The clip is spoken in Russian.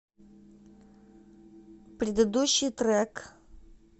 предыдущий трек